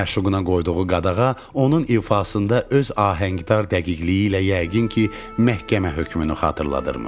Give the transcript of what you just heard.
Məşuquna qoyduğu qadağa onun ifasında öz ahəngdar dəqiqliyi ilə yəqin ki, məhkəmə hökmünü xatırladırdıymış.